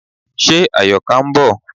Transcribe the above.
Ṣe Àyọ̀ká ń bọ̀?